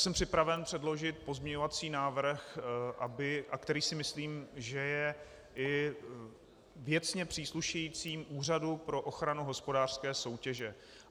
Jsem připraven předložit pozměňovací návrh, který si myslím, že je i věcně příslušejícím Úřadu pro ochranu hospodářské soutěže.